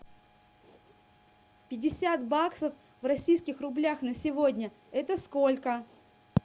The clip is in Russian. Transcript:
пятьдесят баксов в российских рублях на сегодня это сколько